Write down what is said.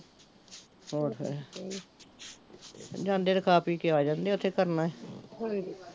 ਹੋਰ ਫੇਰ ਜਾਂਦੇ ਤੇ ਖਾ ਪੀ ਕੇ ਆ ਜਾਂਦੇ ਓਥੇ ਕੀ ਕਰਨਾ ਹੀ